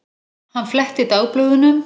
Hann fletti dagblöðunum.